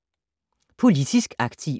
Politisk aktiv